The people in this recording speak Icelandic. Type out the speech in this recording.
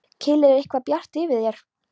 Keili er eitthvað bjart yfir þér.